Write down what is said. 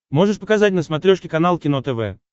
можешь показать на смотрешке канал кино тв